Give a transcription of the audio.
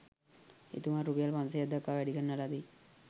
එතුමා රුපියල් 500 දක්වා වැඩි කරන ලදී.